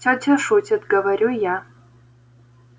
тётя шутит говорю я